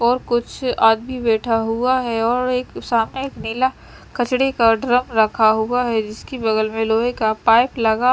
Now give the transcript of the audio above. और कुछ आदमी बैठा हुआ हैं और एक सामने एक नीला कचरे का ड्रम रखा हुआ हैं जिसकी बगल में लोहे का पाइप लगा --